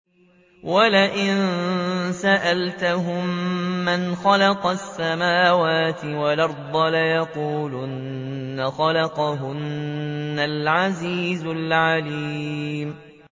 وَلَئِن سَأَلْتَهُم مَّنْ خَلَقَ السَّمَاوَاتِ وَالْأَرْضَ لَيَقُولُنَّ خَلَقَهُنَّ الْعَزِيزُ الْعَلِيمُ